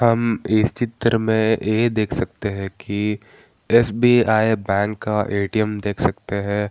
हम इस चित्र में ये देख सकते है की एस.बी.आई. बैंक का ए.टी.एम. देख सकते हैं |